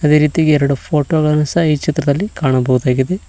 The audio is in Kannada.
ಅದೇ ರೀತಿಯಾಗಿ ಎರಡು ಫೋಟೋ ಗಳನ್ನು ಸಹ ಈ ಚಿತ್ರದಲ್ಲಿ ಕಾಣಬಹುದಾಗಿದೆ.